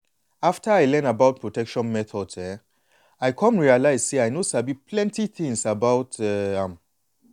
after i learn about protection methods um i come realize say i no sabi plenty things before about um am.